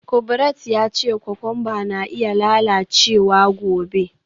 Kubrat ya ce kokwamba na iya lalacewa gobe.